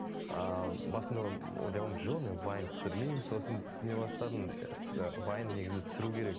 ыыы басында ойлағанмын жоқ мен вайн түсірмеймін сосын түсіне бастадым вайн негізі түсіру керек